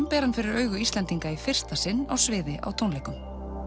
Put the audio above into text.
ber hann fyrir augu Íslendinga í fyrsta sinn á sviði á tónleikum